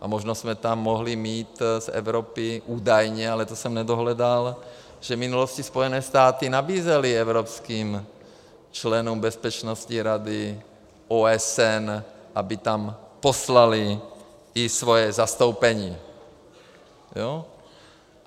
A možná jsme tam mohli mít z Evropy, údajně, ale to jsem nedohledal, že v minulosti Spojené státy nabízely evropským členům bezpečnostní rady OSN, aby tam poslaly i svoje zastoupení.